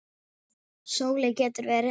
Sóley getur verið